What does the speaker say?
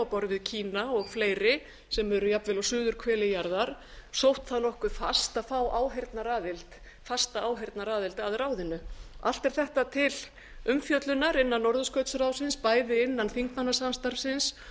borð við kína og fleiri sem eru jafnvel á suðurhveli jarðar sótt það nokkuð fast að fá fasta áheyrnaraðild að ráðinu allt er þetta til umfjöllunar innan norðurskautsráðsins bæði innan þingmannasamstarfsins